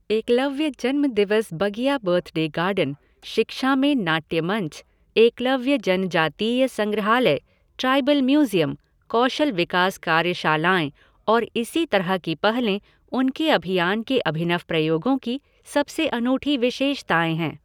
एकलव्य जन्म दिवस बगिया बर्थडे गार्डन, शिक्षा में नाट्य मंच, एकलव्य जनजातीय संग्रहालय, ट्राइबल म्यूज़ियम, कौशल विकास कार्यशालाएं और इसी तरह की पहलें, उनके अभियान के अभिनव प्रयोगों की सबसे अनूठी विशेषताएं हैं।